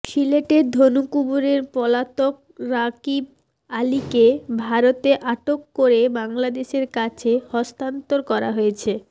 সিলেটের ধনকুবের পলাতক রাগীব আলীকে ভারতে আটক করে বাংলাদেশের কাছে হস্তান্তর করা হয়েছে